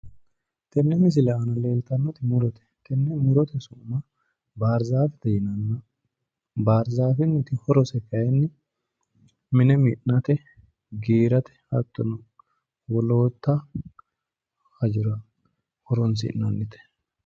Tenne misile aana leeltannoti murote tenne murote su'mi baarzafete yinanni barzaafeenniti horose kaayiinni mine mi'nate hattono giirate hattono wollootta hajora horonsi'nannite